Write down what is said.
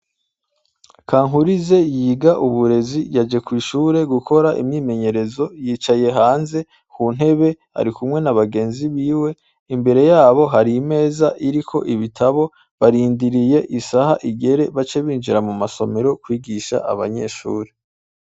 Kankurize yiga uburezi yaje kw'ishure gukora imyimenyerezo yicaye hanze ku ntebe ari kumwe na bagenzi biwe imbere yabo hari imeza iriko ibitabo barindiriye isaha igere bace binjira mu masomero kwigisha abanyeshuri.